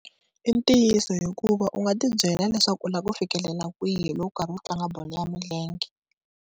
I ntiyiso hikuva u nga ti byela leswaku u lava ku fikelela kwihi loko u karhi u tlanga bolo ya milenge.